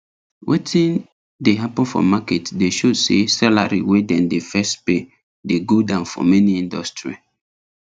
wetin dey happen for market dey show say salary wey dem dey first pay dey go down for many industry